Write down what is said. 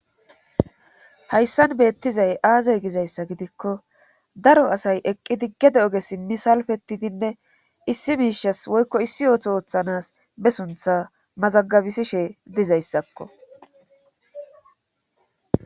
hayssan beettizay aazey gizayssa gidikko daro asay eqqidi gede oge simi salfettidinne issi miishas woykko issi ooto ooththanas be suntha mazagabisishe dizayssakko